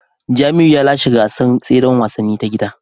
Jamiu ya lashe gasar tseren wasanni ta gida